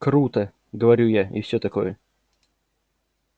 круто говорю я и всё такое